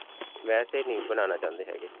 ਵੈਸੇ ਨਹੀਂ ਬਣਾਉਣਾ ਚਾਹੁੰਦੇ ਹੈਗੇ.